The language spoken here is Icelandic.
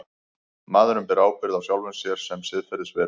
Maðurinn ber ábyrgð á sjálfum sér sem siðferðisveru.